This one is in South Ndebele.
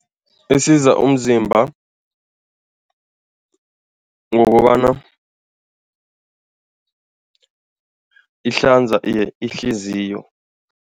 Isiza umzimba ngokobana ihlanza ihliziyo.